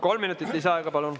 Kolm minutit lisaaega.